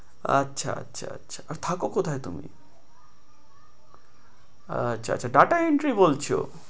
আচ্ছা আচ্ছা আচ্ছা আর থাকো কোথায় তুমি? আচ্ছা আচ্ছা data entry বলছো?